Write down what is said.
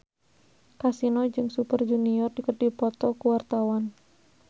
Kasino jeung Super Junior keur dipoto ku wartawan